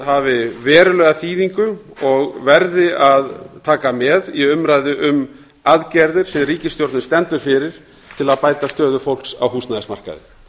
hafi verulega þýðingu og verði að taka með í umræðu um aðgerðir sem ríkisstjórnin stendur fyrir til að bæta stöðu fólks á húsnæðismarkaði